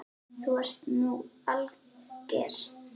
Þú ert nú alger!